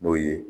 N'o ye